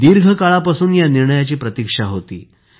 दीर्घ काळापासून या निर्णयाची प्रतीक्षा होती